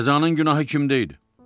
Qəzanın günahı kimdə idi?